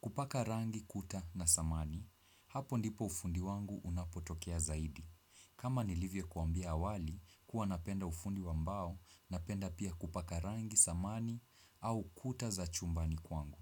Kupaka rangi kuta na samani. Hapo ndipo ufundi wangu unapotokea zaidi. Kama nilivyo kuambia awali, huwa napenda ufundi wambao, napenda pia kupaka rangi, samani, au kuta za chumbani kwangu.